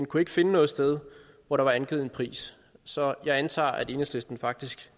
kunne ikke finde noget sted hvor der var angivet en pris så jeg antager at enhedslisten faktisk